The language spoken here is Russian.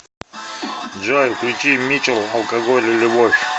джой включи митчел алкоголь и любовь